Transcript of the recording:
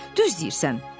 Hə, düz deyirsən."